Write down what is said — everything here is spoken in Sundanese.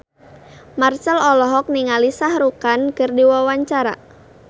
Marchell olohok ningali Shah Rukh Khan keur diwawancara